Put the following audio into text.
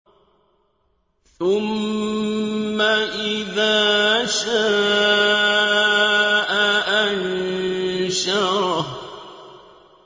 ثُمَّ إِذَا شَاءَ أَنشَرَهُ